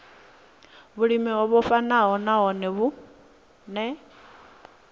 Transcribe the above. vhulimi o vhofhanaho nahone vhune